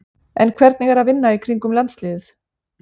En hvernig er að vinna í kringum landsliðið?